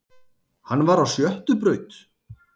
Hann var á sjöttu braut